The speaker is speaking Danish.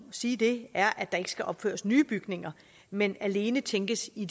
sige det er at der ikke skal opføres nye bygninger men alene tænkes i